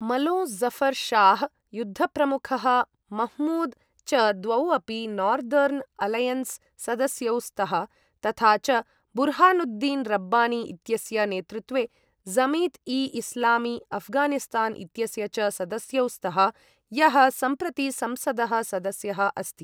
मलों ज़फर् शाह्, युद्धप्रमुखः मह्मूद् च द्वौ अपि नोर्दर्न् अलैयन्स् सदस्यौ स्तः तथा च बुर्हानुद्दीन् रब्बानी इत्यस्य नेतृत्वे जमित् ई इस्लामी अफ्गानिस्तान् इत्यस्य च सदस्यौ स्तः, यः सम्प्रति संसदः सदस्यः अस्ति।